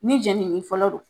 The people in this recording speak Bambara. Ni jenini fɔlɔ do